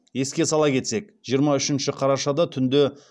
еске сала кетсек жиырма үшінші қарашада түнде